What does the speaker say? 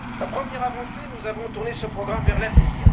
Premièrement, nous avons tourné ce programme vers l'avenir.